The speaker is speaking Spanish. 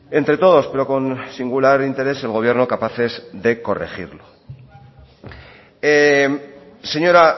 entre todos pero con singular interés el gobierno capaces de corregirlo señora